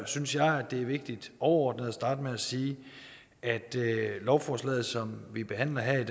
synes jeg det er vigtigt overordnet at starte med at sige at lovforslaget som vi behandler her i